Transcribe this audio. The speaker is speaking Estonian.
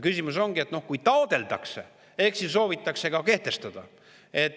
Küsimus ongi selles, et kui taotletakse, ehk siis soovitakse kehtestada.